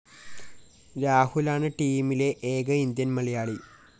രാഹുലാണ് ടീമിലെ ഏക ഇന്ത്യന്‍ മലയാളി